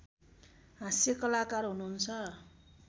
हास्यकलाकार हुनुहुन्छ